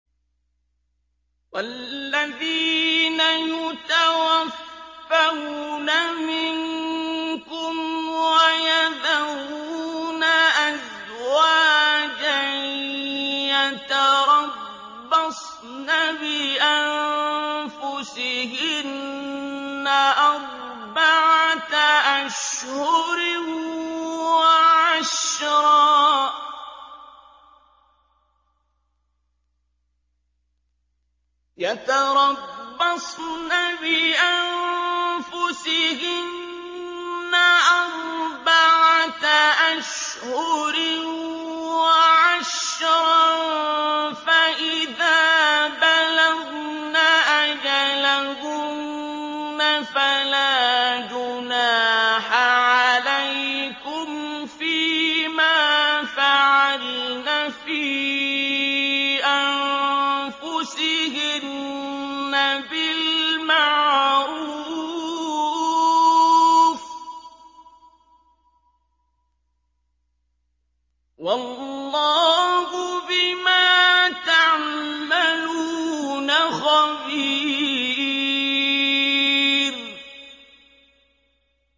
وَالَّذِينَ يُتَوَفَّوْنَ مِنكُمْ وَيَذَرُونَ أَزْوَاجًا يَتَرَبَّصْنَ بِأَنفُسِهِنَّ أَرْبَعَةَ أَشْهُرٍ وَعَشْرًا ۖ فَإِذَا بَلَغْنَ أَجَلَهُنَّ فَلَا جُنَاحَ عَلَيْكُمْ فِيمَا فَعَلْنَ فِي أَنفُسِهِنَّ بِالْمَعْرُوفِ ۗ وَاللَّهُ بِمَا تَعْمَلُونَ خَبِيرٌ